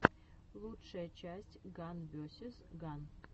лучшая часть ган весиз ган